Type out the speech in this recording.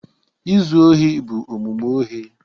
Izu ohi bụ omume ohi